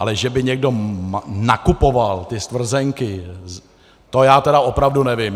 Ale že by někdo nakupoval ty stvrzenky, to já tedy opravdu nevím.